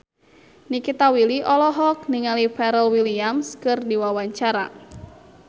Nikita Willy olohok ningali Pharrell Williams keur diwawancara